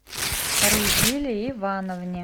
рузиле ивановне